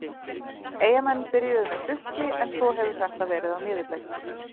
Eyjamenn byrjuðu með trukki en svo hefur þetta verið á niðurleið.